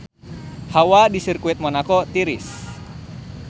Hawa di Sirkuit Monaco tiris